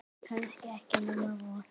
Kannski ekki nema von.